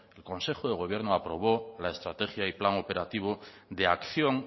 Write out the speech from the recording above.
el consejo de gobierno aprobó la estrategia y plan operativo de acción